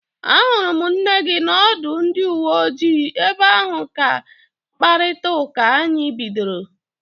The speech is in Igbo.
Ahụrụ m nne gị n'ọdụ ndị uwe ojii, ebe ahụ ka mkparịta ụka anyị bidoro